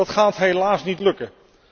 Dat gaat helaas niet lukken.